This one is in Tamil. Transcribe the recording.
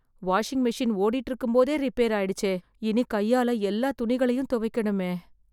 வாஷிங் மெஷின் ஓடிட்டு இருக்கும்போதே ரிப்பேர் ஆய்டுச்சே... இனி கையால எல்லா துணிகளையும் துவைக்கணுமே..